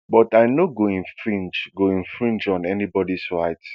but i no go infringe go infringe on anybody rights